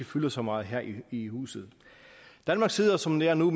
fylder så meget her i huset danmark sidder som det er nu